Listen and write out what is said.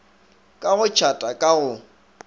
ka go tšhata ka go